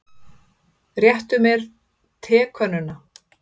Réttu mér tekönnuna.